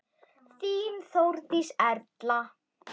Þín Þórdís Erla.